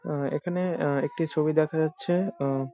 আহ এইখানে আহ একটি ছবি দেখা যাচ্ছে আহ ।